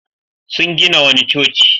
Sun gina wani coci.